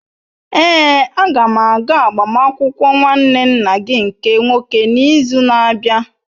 Èé, a ga m aga agbamakwụkwọ nwanne nna gị nke nwoke n'izu na-abịa.